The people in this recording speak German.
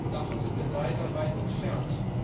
Davon sind wir leider weit entfernt.